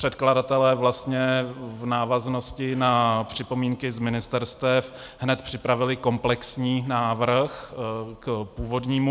Předkladatelé vlastně v návaznosti na připomínky z ministerstev hned připravili komplexní návrh k původnímu.